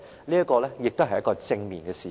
這亦是一件正面的事情。